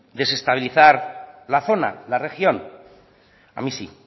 desestabilizar la zona la región a mí sí